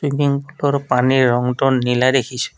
পুলৰ পানীৰ ৰংটো নীলা দেখিছোঁ।